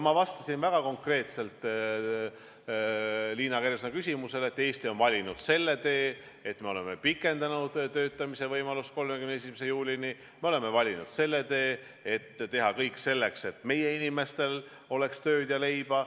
Ma vastasin väga konkreetselt Liina Kersna küsimusele, et Eesti on valinud selle tee, et me oleme pikendanud töötamise võimalust 31. juulini, me oleme valinud selle tee, et teha kõik selleks, et meie inimestel oleks tööd ja leiba.